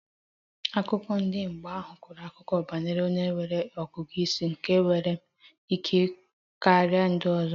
Akụkọ ndi aghụghọ kọrọ akụkọ banyere onye nwere ọgụgụ ísì nke nwere ike karia ndị ọzọ